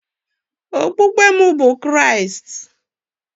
Okpukpe m bụ Kraịst